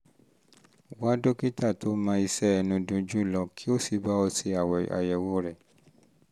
wá dókítà tó mọṣẹ́ ẹnu dunjú lọ kí ó sì bá ọ ṣe àyẹ̀wò rẹ̀